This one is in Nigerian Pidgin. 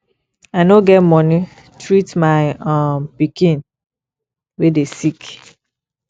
i no get money treat my um pikin wey dey sick